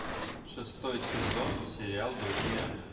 шестой сезон сериал друзья